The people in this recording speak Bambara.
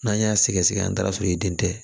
N'an y'a sɛgɛsɛgɛ an taara sɔrɔ i den tɛ